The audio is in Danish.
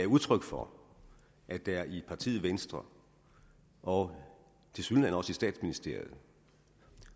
udtryk for at der i partiet venstre og tilsyneladende også i statsministeriet